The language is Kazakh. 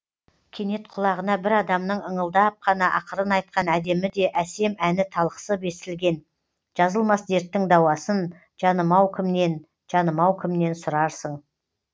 кенет құлағына бір адамның ыңылдап қана ақырын айтқан әдемі де әсем әні талықсып естілген жазылмас дерттің дауасын жанымау кімнен жанымау кімнен сұрарың